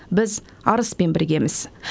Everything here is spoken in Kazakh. біз арыспен біргеміз